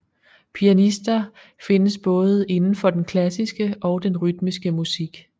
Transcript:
Pianister findes både indenfor den klassiske og den rytmiske musik